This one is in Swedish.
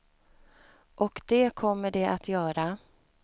Och det kommer de att göra.